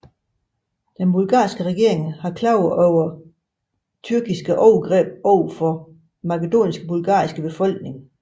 Den bulgarske regering klagede over tyrkiske overgreb over for Makedoniens bulgarske befolkning